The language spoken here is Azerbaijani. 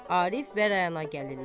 Arif və Rəna gəlirlər.